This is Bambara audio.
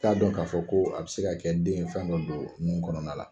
I t'a dɔn k'a fɔ ko a bɛ se ka kɛ den ye fɛn dɔ don nun kɔnɔna la.